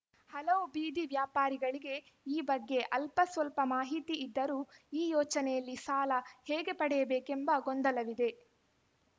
ಹಲವು ಬೀದಿ ವ್ಯಾಪಾರಿಗಳಿಗೆ ಈ ಬಗ್ಗೆ ಅಲ್ಪ ಸ್ವಲ್ಪ ಮಾಹಿತಿ ಇದ್ದರೂ ಈ ಯೋಚನೆಯಲ್ಲಿ ಸಾಲ ಹೇಗೆ ಪಡೆಯಬೇಕೆಂಬ ಗೊಂದಲವಿದೆ